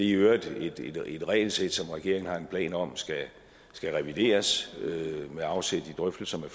i øvrigt et regelsæt som regeringen har planer om skal revideres med afsæt i drøftelser med